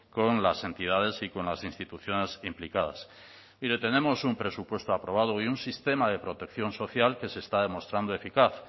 con las entidades y con las instituciones implicadas mire tenemos un presupuesto aprobado y un sistema de protección social que se está demostrando eficaz